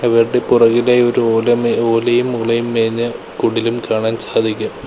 ഇവരുടെ പുറകിലായി ഒരു ഓല മേ ഓലയും മൂലയും മേഞ്ഞ കുടിലും കാണാൻ സാധിക്കും.